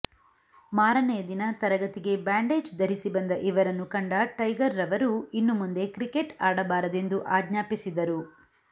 ಮಾರನೆಯ ದಿನ ತರಗತಿಗೆ ಬ್ಯಾಂಡೇಜ್ ಧರಿಸಿ ಬಂದ ಇವರನ್ನು ಕಂಡ ಟೈಗರ್ ರವರು ಇನ್ನು ಮುಂದೆ ಕ್ರಿಕೆಟ್ ಆಡಬಾರದೆಂದು ಆಜ್ಞಾಪಿಸಿದರು